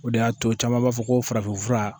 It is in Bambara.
O de y'a to caman b'a fɔ ko farafinfura